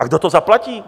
A kdo to zaplatí?